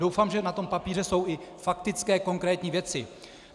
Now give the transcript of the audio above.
Doufám, že na tom papíře jsou i faktické konkrétní věci.